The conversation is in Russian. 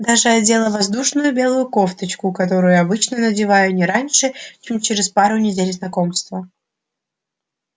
даже одела воздушную белую кофточку которую обычно надеваю не раньше чем через пару недель знакомства